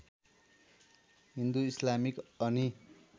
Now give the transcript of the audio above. Hindu Islamic अनि